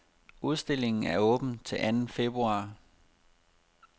Udstillingen er åben til anden februar.